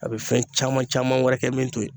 A be fɛn caman caman wɛrɛ kɛ min to ye